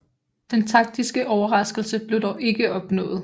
Den taktiske overraskelse blev dog ikke opnået